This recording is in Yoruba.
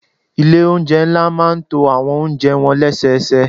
Ilé oúnjẹ ńlá máa ń to àwọn oúnjẹ wọn lẹ́sẹẹsẹ.